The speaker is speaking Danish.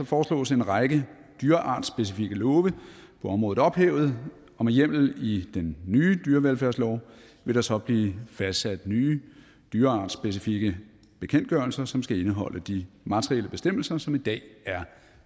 foreslås en række dyreartsspecifikke love på området ophævet og med hjemmel i den nye dyrevelfærdslov vil der så blive fastsat nye dyreartsspecifikke bekendtgørelser som skal indeholde de materielle bestemmelser som i dag er